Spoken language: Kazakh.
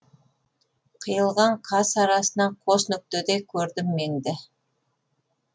қиылған қас арасынан қос нүктедей көрдім меңді